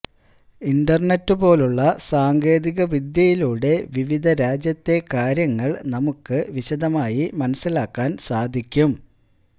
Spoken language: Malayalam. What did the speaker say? ഇന്റര്നെറ്റ് പോലുള്ള സാങ്കേതിക വിദ്യയിലൂടെ വിവിധ രാജ്യത്തെ കാര്യങ്ങള് നമുക്ക് വിശദമായി മനസ്സിലാക്കാന് സാധിക്കും